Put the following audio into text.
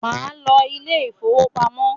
món ló Ilé ìfowópamọ́